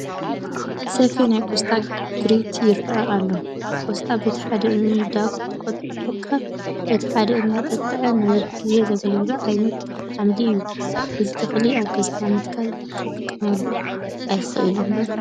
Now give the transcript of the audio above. ሰፊሕ ናይ ቆስጣ ግሪት ይርአ ኣሎ፡፡ ቆስጣ በቲ ሓደ እንዳቐንጠብካ በቲ ሓደ እንዳጠጥዐ ነዊሕ ግዜ ዘግልግል ዓይነት ሓምሊ እዩ፡፡ እዚ ተኽሊ ኣብ ገዛና ምትካል ክጠቕመና ኣይኽእልን ዶ?